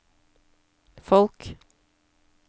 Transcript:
folk